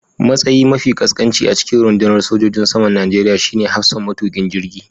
Matsayi mafi ƙasƙanci a cikin rundunar sojojin saman Najeriya shine hafsan matukin jirgi